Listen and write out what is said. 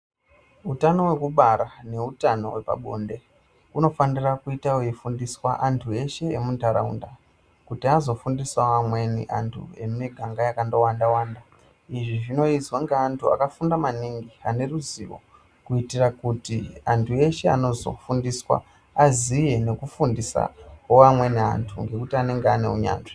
Wutano wekubara newutano wepabonde, unofanira kuyita weyifundiswa antu eshe emundarawunda, kuti azofundisa vamweni antu vemumiganga yakatowanda wanda. Izvi zvinoyiswa nge antu akafunda maningi, aneruzivo, kuyitira kuti antu eshe anozofundiswa, aziye nokufundisa wamweni antu ngekuti anenge anewunyazvi.